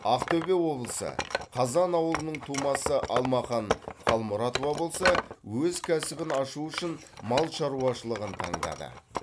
ақтөбе облысы қазан ауылының тумасы алмахан қалмұратова болса өз кәсібін ашу үшін мал шаруашылығын таңдады